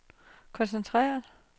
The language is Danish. koncentrere